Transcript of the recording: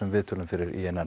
viðtölum fyrir